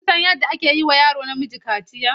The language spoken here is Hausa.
Kun san yadda ake yi wa yaro namiji kaciya?